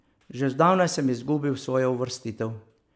Že zdavnaj sem izgubil svojo uvrstitev.